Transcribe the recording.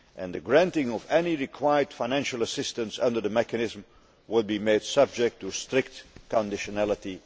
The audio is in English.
The granting of any required financial assistance under the mechanism will be made subject to strict conditionality'.